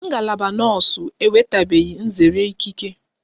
Ngalaba nọọsu enwetabeghi nzere ikike